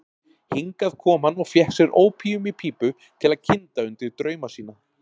Hingað kom hann og fékk sér ópíum í pípu til að kynda undir drauma sína.